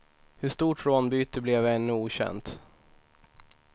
Hur stort rånbytet blev är ännu okänt.